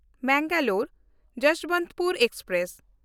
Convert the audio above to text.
ᱢᱮᱝᱜᱟᱞᱳᱨ–ᱡᱚᱥᱵᱚᱱᱛᱯᱩᱨ express